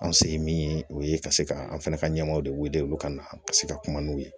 An se ye min ye o ye ka se ka an fana ka ɲɛmɔgɔw de wele olu ka na ka se ka kuma n'u ye